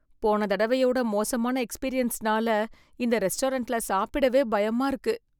போன தடவையோட மோசமான எக்ஸ்பீரியன்ஸ்னால இந்த ரெஸ்டாரண்ட்ல சாப்பிடவே பயமா இருக்கு.